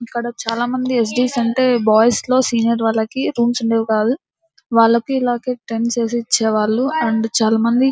ఇక్కడ చాలామంది S D S అంటే బాయ్స్ లో సీనియర్ వాళ్ళకి రూమ్స్ ఉండేవి కాదు వాళ్ళకి ఇలాగె టెంట్స్ వేసి ఇచ్చేవాళ్ళు అండ్ చాలామంది --